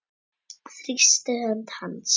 Þrýsti hönd hans.